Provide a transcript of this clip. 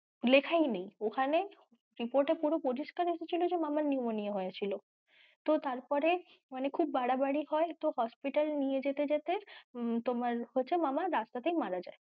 লেখাই নেই ওখানে report এ পুরো পরিস্কার এসেছিলো যে মামার pneumonia হয়েছিল তো তারপরে মানে খুব বাড়াবাড়ি হয় তো hospital নিয়ে যেতে যেতে তোমার হচ্ছে মামা রাস্তা তেই মারা যায়।